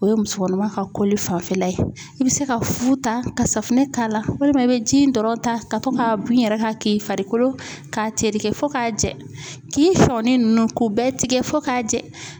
O ye musokɔnɔma ka koli fanfɛla ye, i bi se ka fu ta ka safunɛ k'a la, walima i bi ji in dɔrɔn ta, ka to k'a bin i yɛrɛ kan, k'i farikolo k'a tereke fo k'a jɛ, k'i sɔɔni nunnu k'u bɛɛ tigɛ fo k'a jɛ